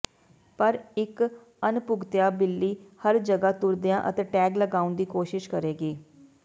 ਪਰ ਇੱਕ ਅਣਪੁੱਗਿਤਆ ਬਿੱਲੀ ਹਰ ਜਗ੍ਹਾ ਤੁਰਦਿਆਂ ਅਤੇ ਟੈਗ ਲਗਾਉਣ ਦੀ ਕੋਸ਼ਿਸ਼ ਕਰੇਗੀ